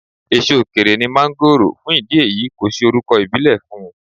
Èso òkèèrè ní máńgòrò, fún ìdí èyí kò sí orúkọ̀ ìbílè fún.